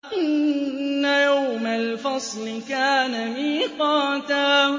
إِنَّ يَوْمَ الْفَصْلِ كَانَ مِيقَاتًا